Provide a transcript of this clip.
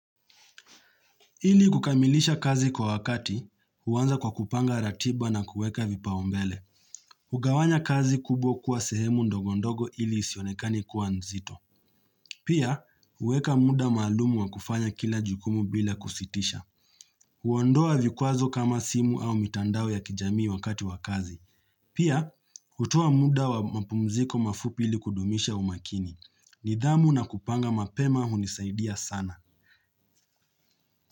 Ili kukamilisha kazi kwa wakati, huanza kwa kupanga ratiba na kuweka vipaumbele. Ugawanya kazi kubwa kuwa sehemu ndogondogo ili isionekane kuwa nzito. Pia, huweka muda maalumu wa kufanya kila jukumu bila kusitisha. Huondoa vikwazo kama simu au mitandao ya kijamii wakati wa kazi. Pia, hutoa muda wa mapumziko mafupi ili kudumisha umakini. Nidhamu na kupanga mapema hunisaidia sana.